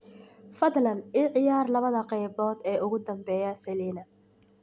fadlan i ciyaar labada qaybood ee ugu dambeeya selina